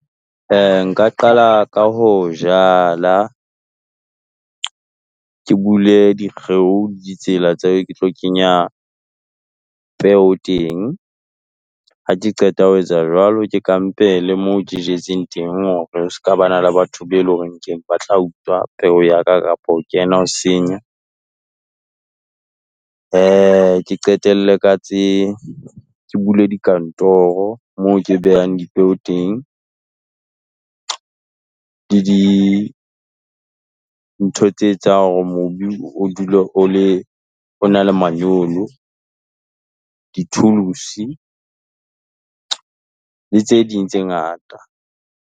Nka qala ka ho jala, ke bule dikgeo ditsela tse ke tlo kenya peo teng, ha ke qeta ho etsa jwalo, ke kampele moo ke jetseng teng hore o ska ba na le batho be loreng keng, ba tla utswa peo ya ka kapo ho kena ho senya. Ke qetelle ka tse, ke bule dikantoro moo ke behang dipeo teng. Le dintho tse etsang hore mobu o dule o le o na le manyolo, di-tools-i, le tse ding tse ngata.